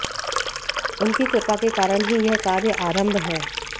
उनकी कृपा के कारण ही यह कार्य आरंभ है